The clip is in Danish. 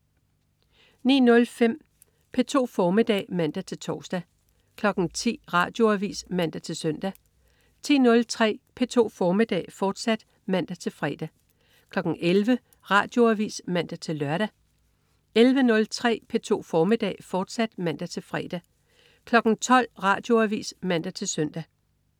09.05 P2 formiddag (man-tors) 10.00 Radioavis (man-søn) 10.03 P2 formiddag, fortsat (man-fre) 11.00 Radioavis (man-lør) 11.03 P2 formiddag, fortsat (man-fre) 12.00 Radioavis (man-søn)